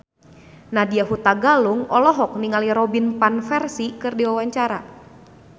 Nadya Hutagalung olohok ningali Robin Van Persie keur diwawancara